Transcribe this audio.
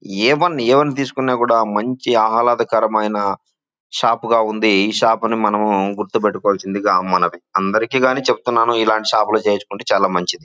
ఏవని ఏవని తీసుకున్నా కూడా మంచి ఆహ్లాదకరమైన షాపు గా ఉంది ఈ షాప్ అని మనము గుర్తుపెట్టుకోవాల్సిందిగా మనవి అందరికీ గాని చెప్తున్నాను ఇలాంటి షాప్ లు చేయించుకుంటే చాలా మంచిది.